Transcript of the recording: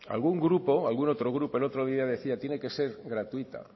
algún otro grupo el otro día decía tiene que ser gratuita